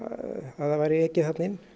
að það væri ekið þarna inn